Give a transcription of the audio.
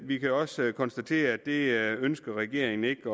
vi kan også konstatere at det ønsker regeringen ikke